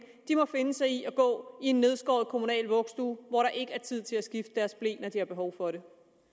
må finde sig i at gå i en nedskåret kommunal vuggestue hvor der ikke tid til at skifte deres ble når de har behov for det